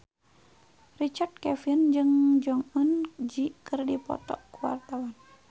Richard Kevin jeung Jong Eun Ji keur dipoto ku wartawan